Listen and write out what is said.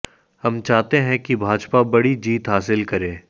हम चाहते हैं कि भाजपा बड़ी जीत हासिल करे